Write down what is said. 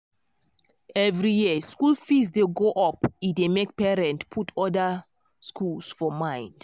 every year school fees dey go up e dey make parents put other schools for mind